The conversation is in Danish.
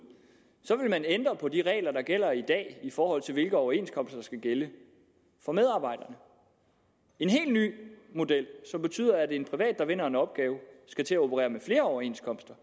vil man ændre på de regler der gælder i dag i forhold til hvilke overenskomster der skal gælde for medarbejderne en helt ny model som betyder at en privat der vinder en opgave skal til at operere med flere overenskomster